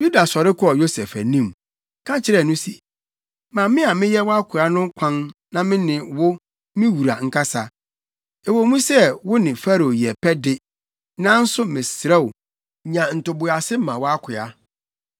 Yuda sɔre kɔɔ Yosef anim, ka kyerɛɛ no se, “Ma me a meyɛ wʼakoa no kwan na me ne wo, me wura, nkasa. Ɛwɔ mu sɛ wo ne Farao yɛ pɛ de, nanso mesrɛ wo, nya ntoboase ma wʼakoa.